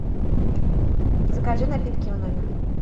закажи напитки в номер